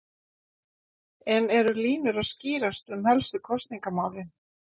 En eru línur að skýrast um helstu kosningamálin?